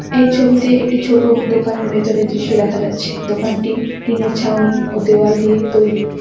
এই ছবিতে একটি ছোট দোকানের ভেতরের দৃশ্য দেখা যাচ্ছে। দোকানটি টিনের ছাউনি ও দেওয়াল দিয়ে তৈরি।